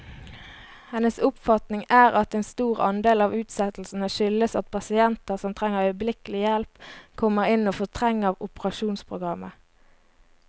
Hennes oppfatning er at en stor andel av utsettelsene skyldes at pasienter som trenger øyeblikkelig hjelp, kommer inn og fortrenger operasjonsprogrammet.